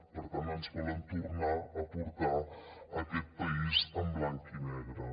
per tant ens volen tornar a portar a aquest país en blanc i negre